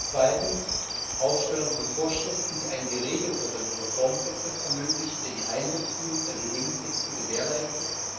2. Aufstellung von Vorschriften, die einen geregelteren Reformprozess ermöglichen, der die Einbeziehung der Begünstigten gewährleistet,